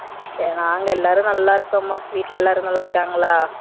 நாங்க எல்லாரும் நல்லா இருக்கம்மா வீட்ல எல்லாரும் நல்லா இருக்காங்களா?